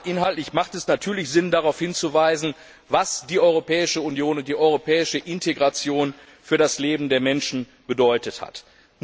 Ja, inhaltlich macht es natürlich Sinn, darauf hinzuweisen, was die Europäische Union und die europäische Integration für das Leben der Menschen bedeutet haben.